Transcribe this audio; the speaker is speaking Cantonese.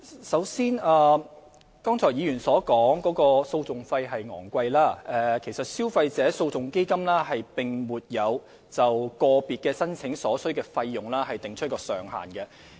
首先，就議員剛才提到訴訟費高昂的問題，基金並沒有就個別申請所需的費用訂出上限。